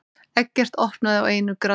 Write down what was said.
Eggert opnaði á einu grandi.